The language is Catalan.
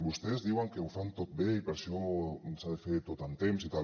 vostès diuen que ho fan tot bé i per això s’ha de fer tot amb temps i tal